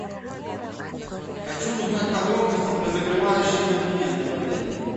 хочу узнать подробности про закрывающие документы в отеле